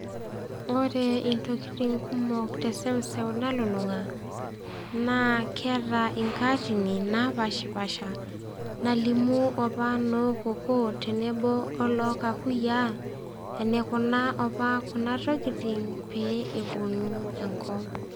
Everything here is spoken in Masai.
Ore intokitin kumok te eseuseu nalulung'a naa keata inkaatini napaashipaasha nalimu opa noo kokoo tenebo olookakuyiaa eneikuna kuna tokitin opa pee epuonu enkop.